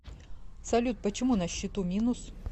салют почему на счету минус